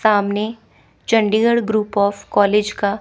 सामने Chandigarh group of college का--